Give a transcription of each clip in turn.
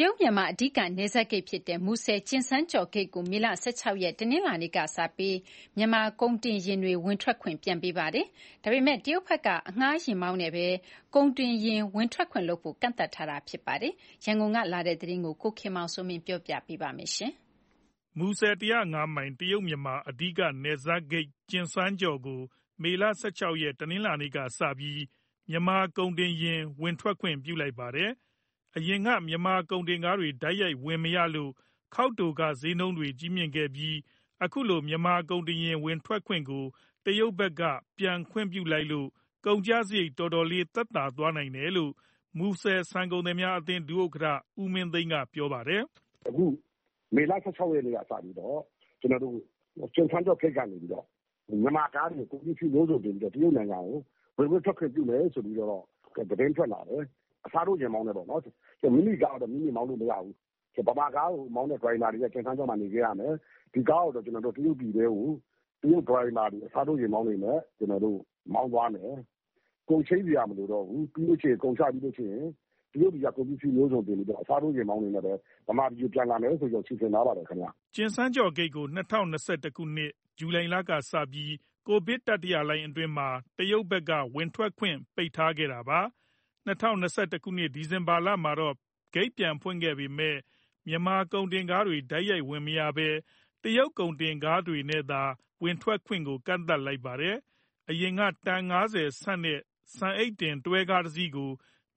တရုတ် - မြန်မာ အဓိကနယ်စပ်ဂိတ်ဖြစ်တဲ့ မူဆယ် -ကျင်စန်းကျော့ဂိတ်ကို မေလ ၁၆ ရက် တနင်္လာနေ့ကစပြီး မြန်မာကုန်တင်ယာဉ်တွေ ဝင်ထွက်ခွင့် ပြန်ပေးလိုက်ပါတယ်။ ဒါပေမဲ့ တရုတ်ဘက်က အငှားယာဉ်မောင်းနဲ့သာ ကုန်တင်ယာဉ်ဝင်ထွက်ခွင့်လုပ်ဖို့ ကန့်သတ်ထားတာ ဖြစ်ပါတယ်။ ဒီအကြောင်း ရန်ကုန်ကလာတဲ့သတင်း ကိုခင်မောင်စိုးမင်း က ပြောပြမှာပါ။ မူဆယ် ၁၀၅ မိုင် တရုတ် - မြန်မာ အဓိကနယ်စပ်ဂိတ် ကျင်စန်းကျော့ကို မေလ ၁၆ ရက်၊ တနင်္လာနေ့ကစပြီး မြန်မာကုန်တင်ယာဉ်ဝင်ထွက်ခွင့် ပြုလိုက်ပါတယ်။ အရင်က မြန်မာကုန်တင်ယာဉ်တွေ တိုက်ရိုက်ဝင်မရလို့ ခေါက်တိုခတွေ ဈေးနှုန်းမြင့်ခဲ့ပြီး အခုလို မြန်မာကုန်တင်ယာဉ်ဝင်ထွက်ခွင့်ကို တရုတ်ဘက်က ပြန်ခွင့်ပြုလိုက်လို့ ကုန်ကျစရိတ် တော်တော်လေးသက်သာသွားနိုင်တယ်လို့ မူဆယ်ဆန်ကုန်သည်အသင်း ဒုဥက္ကဋ္ဌ ဦးမင်းသိန်းက ပြောပါတယ်။ "အခု မေလ ၁၆ ရက်နေ့ကစပြီးတော့ ကျင်စန်းကျော့ဂိတ်ကနေပြီးတော့ မြန်မာကားတွေ ကုန်ပစ္စည်းမျိုးစုံတင်ပြီးတော့ တရုတ်နိုင်ငံကို ဝင်ခွင့်ထွက်ခွင့်ပြုတယ် ဆိုပြီးတော့ သတင်းထွက်လာတယ်။ အစားထိုး ယာဉ်မောင်းနဲ့ပဲပေါ့နော်။ မိမိကားတော့ မိမိမောင်းလို့ မရဘူး။ ဗမာကားတွေမောင်းတဲ့ ဒရိုင်ဘာတွေက ကျင်စန်းကျော့မှာ နေခဲ့ရမယ်။ ဒီကားကို တရုတ်ပြည်ထဲကို တရုတ်ဒရိုင်ဘာတွေ အစားထိုးယာဉ်မောင်းတွေနဲ့ မောင်းသွားမယ်။ ကုန်ချိန်းစရာ မလိုတော့ဘူး။ ကုန်ချပြီးလို့ရှိရင် တရုတ်ပြည်က ကုန်ပစ္စည်းမျိုးစုံတင်ပြီးတော့ အစားထိုးယာဉ်မောင်းတွေနဲ့ပဲ ဗမာပြည်ကိုပြန်လာမယ် ဆိုပြီးတော့ စီစဉ်ထားပါတယ်ခင်ဗျ။" ကျင်စန်းကျော့ဂိတ်ကို ၂၀၂၁ ခုနှစ်၊ ဇူလိုင်လကစပြီး ကိုဗစ်တတိယလှိုင်းအတွင်းမှာ တရုတ်ဘက်က ဝင်ထွက်ခွင့် ပိတ်ထားခဲ့တာပါ။ ၂၀၂၁ ခုနှစ်၊ ဒီဇင်ဘာမှာတော့ ဂိတ်ပြန်ဖွင့်ခဲ့ပေမယ့် မြန်မာကုန်တင်ကားတွေ တိုက်ရိုက်ဝင်မရဘဲ တရုတ်ကုန်တင်ကားတွေနဲ့သာ ဝင်ထွက်ခွင့်ကို ကန့်သတ်လိုက်ပါတယ်။ အရင်က တန် ၅၀ ဆံ့တဲ့ ဆန်အိတ်တင် တွဲကားတစီးကို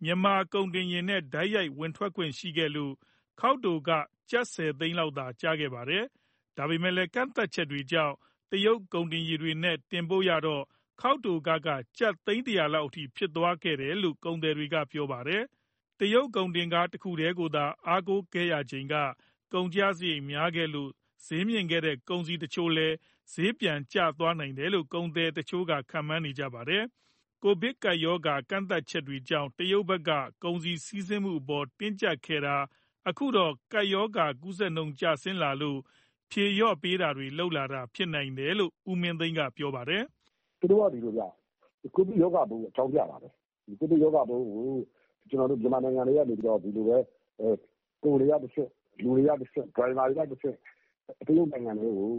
မြန်မာကုန်တင်ယာဉ်နဲ့ တိုက်ရိုက်ဝင်ထွက်ခွင့်ရှိခဲ့လို့ ခေါက်တိုခ ကျပ် ၁၀ သိန်းလောက်သာ ကျခဲ့တာပါ။ ဒါပေမဲ့ ကန့်သတ်ချက်တွေကြောင့် တရုတ်ကုန်တင်ကားတွေနဲ့ တင်ပို့ရတော့ ခေါက်တိုခက ကျပ် သိန်း ၁၀၀ လောက်ထိ ဖြစ်သွားတယ်လို့ ကုန်သည်တွေက ပြောပါတယ်။ တရုတ်ကုန်တင်ကား တခုတည်းကိုသာ အားကိုးခဲ့ရချိန်က ကုန်ကျစရိတ် များခဲ့လို့ ဈေးမြင့်ခဲ့တဲ့ ကုန်စည်တချို့လည်း ဈေးကျသွားနိုင်တယ်လို့ ကုန်သည်တချို့က ခန့်မှန်းနေကြပါတယ်။ ကိုဗစ်ကပ်ရောဂါကန့်သတ်ချက်တွေကြောင့် တရုတ်ဘက်က ကုန်စည်စီးဆင်းမှုအပေါ် တင်းကြပ်ခဲ့တာ အခုတော့ ကပ်ရောဂါကူးစက်နှုန်းကျဆင်းလာလို့ ဖြေလျှော့တာတွေလုပ်လာတာ ဖြစ်နိုင်တယ်လို့ ဦးမင်းသိန်းက ပြောပါတယ်။ "သူတို့က ဒီလိုဗျ။ ကိုဗစ်ရောဂါပိုးကို အကြောင်းပြတာပေါ့။ ဒီကိုဗစ်ရောဂါပိုးကို ကျနော်တို့ မြန်မာနိုင်ငံထဲကနေပြီးတော့ ကုန်တွေကတဆင့်၊ လူတွေကတဆင့်၊ ဒရိုင်ဘာတွေကတဆင့် သူတို့နိုင်ငံထဲကို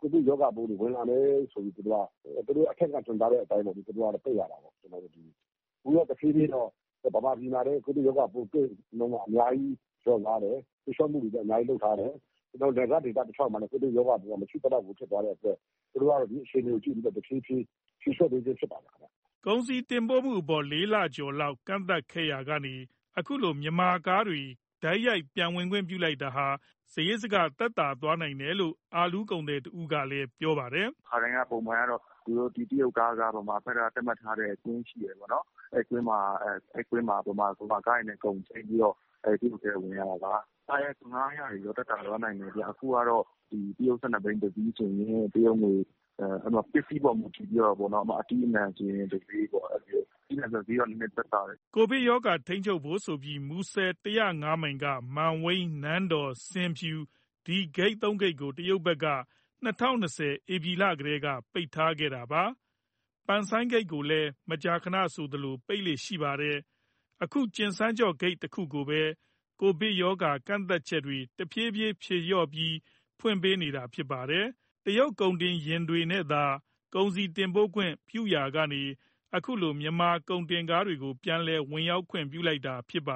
ကိုဗစ်ရောဂါပိုးတွေ ဝင်လာမယ်ဆိုပြီး သူတို့က အထက်ကညွှန်ကြားတဲ့အတိုင်း ပိတ်ရတာပေါ့။ အခုတဖြေးဖြေးတော့ ဗမာပြည်မှာလည်း ကိုဗစ်ရောဂါပိုး သိပ်အများကြီး လျော့သွားတယ်။ ဖြေလျှော့မှုတွေလည်း အများကြီးလုပ်ထားတယ်။ နယ်စပ်ဒေသတလျှောက်မှာလည်း ကိုဗစ်ရောဂါပိုးက မရှိသလောက်ဖြစ်သွားတဲ့အတွက် သူတို့ကတော့ ဒီအခြေအနေကို ကြည့်ပြီးတော့ တဖြေးဖြေး ဖြေလျှော့ပေးခြင်းဖြစ်ပါတယ်။" ကုန်စည်တင်ပို့မှုအပေါ် ၄ လကျော်လောက် ကန့်သတ်ခဲ့တာကနေ အခုလို မြန်မာကားတွေ တိုက်ရိုက်ပြန်ဝင်ခွင့်ပြုလိုက်တာဟာ စရိတ်စက သက်သာသွားနိုင်တယ်လို့ အာလူးကုန်သည်တဦးကလည်း ပြောပါတယ်။ "ခါတိုင်းပုံမှန်ကတော့ တရုတ်ကားက ဗမာဘက်က သတ်မှတ်ထားတဲ့ ကွင်းရှိတယ်ပေါ့နော်။ အဲဒီကွင်းမှာ ဗမာကားတွေနဲ့ ကုန်ချိန်းပြီးတော့ တရုတ်ပြည်ထဲကို ဝင်ရတာပါ။ အခုကတော့ ကားငှားရမ်းခတွေတော့ သက်သာသွားနိုင်တယ်ဗျ။ တရုတ် ၁၂ ဘီး တစီးဆိုရင် ပစ္စည်းပေါ်မူတည်ပြီးတော့ ဥပမာ - အသီးအနှံဆိုရင် တဈေးပေါ့။ အသီးအနှံဆိုရင်တော့ ဈေးကသက်သာတယ်။" ကိုဗစ်ရောဂါ ထိန်းချုပ်ဖို့ဆိုပြီး မူဆယ် ၁၀၅ မိုင်က မန်ဝိန်း၊ နန်းတော်၊ ဆင်ဖြူ ဒီဂိတ် ၃ ခုကို တရုတ်ဘက်က ၂၀၂၀ ဧပြီလကတည်းက ပိတ်ထားတာပါ။ ပန်ဆိုင်းဂိတ်ကိုလည်း မကြာခဏဆိုသလို ပိတ်လေ့ရှိပါတယ်။ အခု ကျင်စန်းကျော့ဂိတ်တခုကိုပဲ ကိုဗစ်ရောဂါ ကန့်သတ်ချက်တွေ တဖြေးဖြေးဖြေလျှော့ပြီး ဖွင့်ပေးနေတာပါ။ တရုတ်ကုန်တင်ယာဉ်နဲ့သာ ကုန်စည်တင်ပို့ခွင့် ပြုခဲ့ရာကနေ အခုလို မြန်မာကုန်တင်ကားတွေကို ပြန်လည်ဝင်ရောက်ခွင့် ပြုလိုက်တာပါ